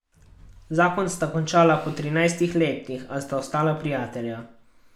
Zakon sta končala po trinajstih letih, a sta ostala prijatelja.